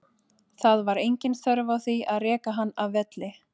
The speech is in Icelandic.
Það var engin þörf á því að reka hann af velli.